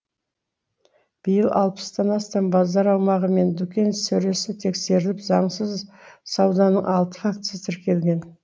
биыл алпыстан астам базар аумағы мен дүкен сөресі тексеріліп заңсыз сауданың алты фактісі тіркелген